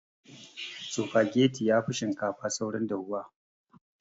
Sufageti yafi shinkafa saurin dafuwa